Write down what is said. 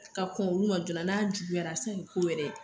Ka kɔn olu ma joona n'a juguyara a bi se ka kɛ ko wɛrɛ ye .